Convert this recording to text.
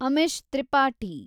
Amish Tripathi